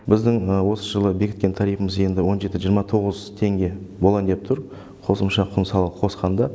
біздің осы жылы бекіткен тарифіміз енді он жеті жиырма тоғыз теңге болайын деп тұр қосымша құн салығын қосқанда